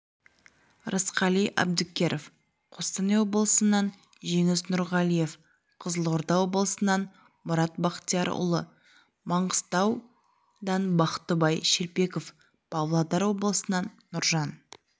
рысқали әбдікеров қостанай облысынан жеңіс нұрғалиев қызылорда облысынан мұрат бақтиярұлы манғыстауданбақтыбай шелпеков павлодар облысынан нұржан